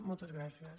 moltes gràcies